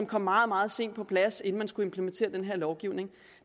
kom meget meget sent på plads inden man skulle implementere den her lovgivning